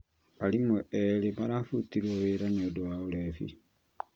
Arimũ erĩ marabutirwo wĩra niũndũ wa ũrebi